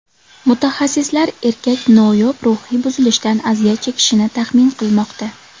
Mutaxassislar erkak noyob ruhiy buzilishdan aziyat chekishini taxmin qilmoqda.